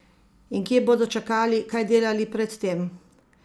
In kje bodo čakali, kaj delali pred tem?